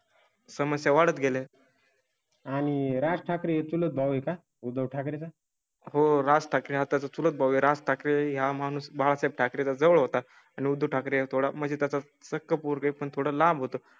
समस्या वाढत गेले. आणि राज ठाकरे तुळज भाऊ आहे का? उद्धव ठाकरेंचा. हो राज ठाकरे आता तुला वगैरे असतात ह्या माणूस बाळासाहेब ठाकरें च्या जवळ होता आणि उद्धव ठाकरे थोडा म्हणजे त्याचा सखे पूर ते पण थोडं लांब होतं